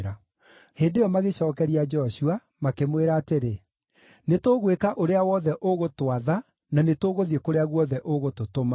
Hĩndĩ ĩyo magĩcookeria Joshua, makĩmwĩra atĩrĩ, “Nĩtũgwĩka ũrĩa wothe ũgũtwatha na nĩ tũgũthiĩ kũrĩa guothe ũgũtũtũma.